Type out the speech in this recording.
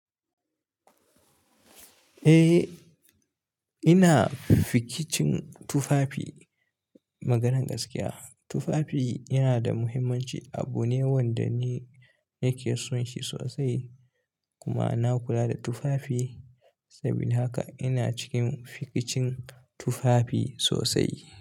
Eh, ina fikicin tufafi. Maganar gaskiya, tufafi yana da muhimmanci. Abu ne wanda ni nake son shi sosai kuma na kula da tufafi. Saboda haka ina cikin fikicin tufafi sosai.